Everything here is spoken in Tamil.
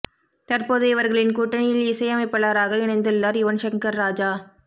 தற்போது இவர்களின் கூட்டணியில் இசையமைப்பாளராக இணைந்துள்ளார் யுவன் சங்கர் ராஜா